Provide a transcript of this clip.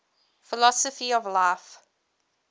philosophy of life